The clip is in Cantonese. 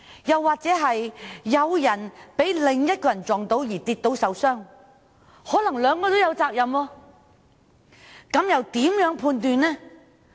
又或當一個人因被另一人碰撞而跌倒受傷，可能雙方也有責任，那該如何判斷呢？